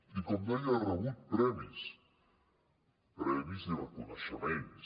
i com deia ha rebut premis premis i reconeixements